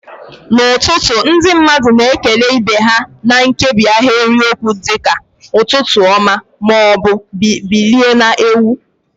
N'ụtụtụ, ndị mmadụ na-ekele ibe ha na nkebi ahịrịokwu dị ka "Ụtụtụ ọma" ma ọ bụ "Bilie na-enwu."